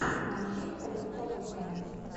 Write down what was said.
манчестер тоттенхэм